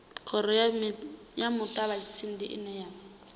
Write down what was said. khoro ya muṱavhatsindi ine ya